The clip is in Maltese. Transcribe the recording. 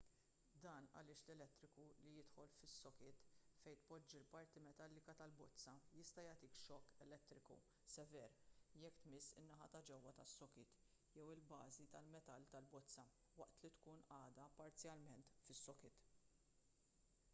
dan għaliex l-elettriku li jidħol fis-sokit fejn tpoġġi l-parti metallika tal-bozza jista' jagħtik xokk elettriku sever jekk tmiss in-naħa ta' ġewwa tas-sokit jew il-bażi tal-metall tal-bozza waqt li tkun għadha parzjalment fis-sokit